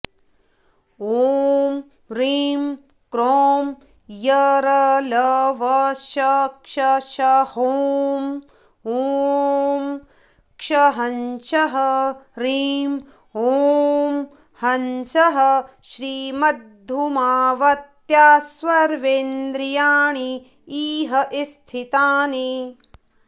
ॐ ह्रीं क्रों यरलवशषसहों ॐ क्षसहंसः ह्रीं ॐ हंसः श्रीमद्धूमावत्यास्सर्वेन्द्रियाणि इह स्थितानि